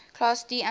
class d amplifiers